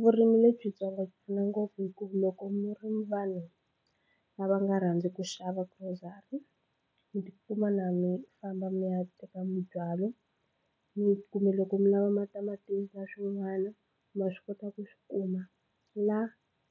Vurimi lebyitsongo byi pfuna ngopfu hikuva loko mi ri mi vanhu lava nga rhandzi ku xava grocery mi tikuma na mi famba mi ya teka mibyalo mi kumbe loko mi lava ma tamatisi na swin'wana ma swi kota ku swi kuma la